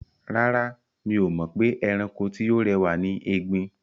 Rárá, mi ò mọ̀ pé ẹranko tí ó rẹwà ni ẹgbin.